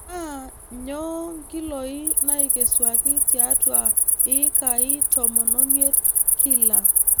Naa nyoo nkiloi naaikesuaki tiatua ikai tomon omiet kila.